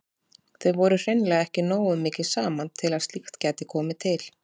Þau voru hreinlega ekki nógu mikið saman til að slíkt gæti komið til.